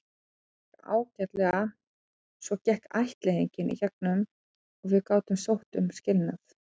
Svo gekk ættleiðingin í gegn og við gátum sótt um skilnað.